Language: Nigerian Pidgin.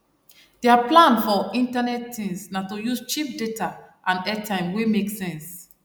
der plan for internet things na to use cheap data and airtime wey make sense